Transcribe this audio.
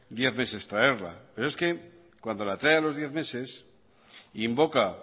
diez meses traerla pero es que cuando la trae a los diez meses invoca